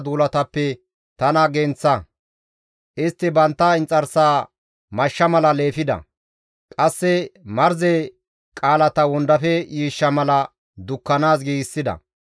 Istti bantta inxarsaa mashsha mala leefida; qasse marze qaalata wondafe yiishsha mala dukkanaas giigsida.